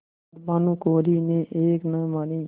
पर भानुकुँवरि ने एक न मानी